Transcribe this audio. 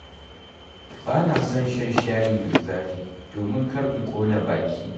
Ba na son shan shayi mai zafi domin kar in ƙona baki.